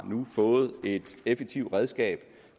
fået et effektivt redskab